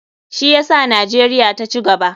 Shi yasa nijeria ta cigaba.